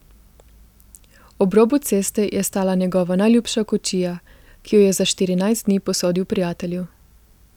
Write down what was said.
Ob robu ceste je stala njegova najljubša kočija, ki jo je za štirinajst dni posodil prijatelju.